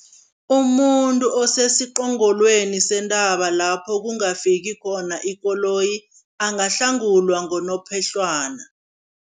Umuntu osesiqongolweni sentaba lapho kungafiki khona ikoloyi, angahlangulwa ngonophehlwana.